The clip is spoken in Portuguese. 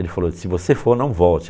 Ele falou, se você for, não volte.